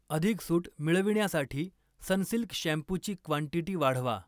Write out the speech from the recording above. अधिक सूट मिळविण्यासाठी सनसिल्क शॅम्पूची क्वांटीटी वाढवा.